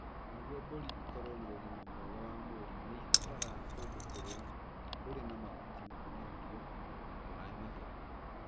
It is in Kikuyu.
Nĩguo mbũri ikorũo na ũgima mwega wa mwĩrĩ, nĩ ibataraga kũndũ kũrĩa kũrĩ na mahuti ma irio na maĩ matheru.